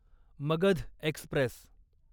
Magadh Express